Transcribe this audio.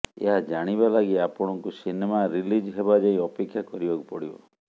ଏହା ଜାଣିବାଲାଗି ଆପଣଙ୍କୁ ସିନେମା ରିଲିଜ୍ ହେବାଯାଏଁ ଅପେକ୍ଷା କରିବାକୁ ପଡ଼ିବ